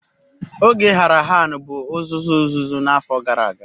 Oge Harahan bụ uzuzu uzuzu n'afọ gara aga.